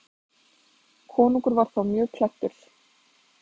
Konungur var þá mjög klæddur.